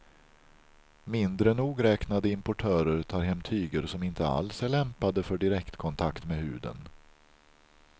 Mindre nogräknade importörer tar hem tyger som inte alls är lämpade för direktkontakt med huden.